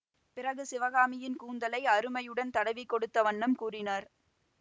பிறகு சிவகாமியின் கூந்தலை அருமையுடன் தடவிக் கொடுத்த வண்ணம் கூறினார்